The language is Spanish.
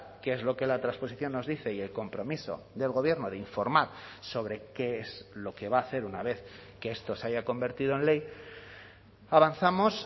qué es lo que la transposición nos dice y el compromiso del gobierno de informar sobre qué es lo que va a hacer una vez que esto se haya convertido en ley avanzamos